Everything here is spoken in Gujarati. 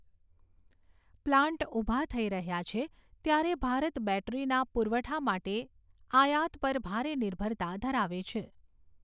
પ્લાન્ટ ઊભા થઈ રહ્યા છે ત્યારે ભારત બૅટરીના પુરવઠા માટે આયાત પર ભારે નિર્ભરતા ધરાવે છે.